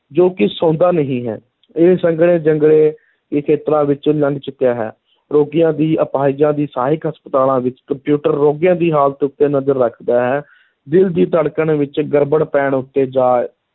ਜੋ ਕਿ ਸੌਂਦਾ ਨਹੀਂ ਹੈ, ਇਹ ਸੰਘਣੇ ਜੰਗਲੇ ਦੇ ਖੇਤਰਾਂ ਵਿੱਚੋਂ ਲੰਘ ਚੁੱਕਿਆ ਹੈ, ਰੋਗੀਆਂ ਦੀ ਅਪਾਹਿਜਾਂ ਦੀ ਸਹਾਇਕ ਹਸਪਤਾਲਾਂ ਵਿਚ ਕੰਪਿਊਟਰ ਰੋਗੀਆਂ ਦੀ ਹਾਲਤ ਉੱਤੇ ਨਜ਼ਰ ਰੱਖਦਾ ਹੈ, ਦਿਲ ਦੀ ਧੜਕਣ ਵਿੱਚ ਗੜਬੜ ਪੈਣ ਉੱਤੇ, ਜਾਂ